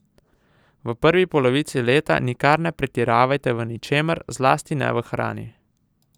V prvi polovici leta nikar ne pretiravajte v ničemer, zlasti ne v hrani.